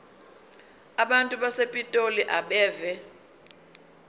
abantu basepitoli abeve